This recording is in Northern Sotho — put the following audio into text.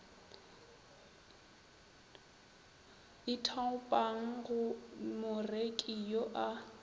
ithaopang go moreki yo a